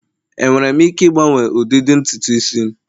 enwere m ike ịgbanwe ụdịdị ntutu isi'm?